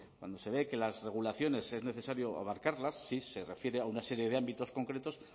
cuando se ve que las regulaciones es necesario abarcarlas si se refiere a una serie de ámbitos concretos